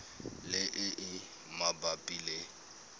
le e e mabapi le